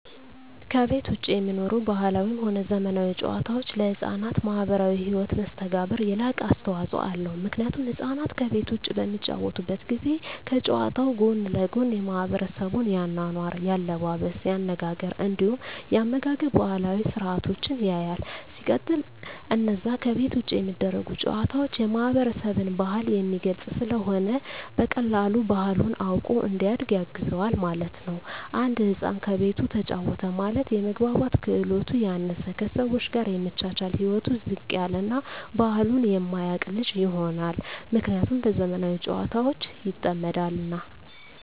ከቤት ዉጪ የሚኖሩ ባህላዊም ሆነ ዘመናዊ ጨዋታወች ለሕፃናት ማህበራዊ ህይወት መስተጋብር የላቀ አስተዋጾ አለዉ ምክንያቱም ህፃናት ከቤት ዉጪ በሚጫወቱበት ጊዜ ከጨዋታዉ ጎን ለጎን የማሕበረሰቡን የአኗኗር፣ የአለባበስ፤ የአነጋገር እንዲሁም የአመጋገብ ባህላዊ ስርአቶችን ያያል። ሲቀጥል አነዛ ከቤት ዉጪ የሚደረጉ ጨዋታወች የማህበረሰብን ባህል የሚገልጽ ስለሆነ በቀላሉ ባህሉን አዉቆ እንዲያድግ ያግዘዋል ማለት ነዉ። አንድ ህፃን ከቤቱ ተጫወተ ማለት የመግባባት ክህሎቱ ያነሰ፣ ከሰወች ጋር የመቻቻል ህይወቱ ዝቅ ያለ እና ባህሉን የማያቅ ልጅ ይሆናል። ምክንያቱም በዘመናዊ ጨዋታወች ይጠመዳልና።